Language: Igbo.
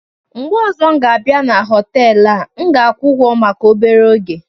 mgbe ọzọ m ga-abịa na họtelu a, M ga-akwụ ụgwọ maka obere oge.